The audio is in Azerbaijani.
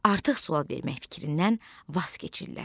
Artıq sual vermək fikrindən vaz keçirlər.